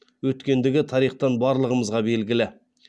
өткендігі тарихтан барлығымызға белгілі